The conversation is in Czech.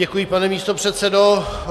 Děkuji, pane místopředsedo.